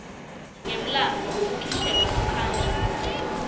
yemlandvo wekukhishelwa ngaphandle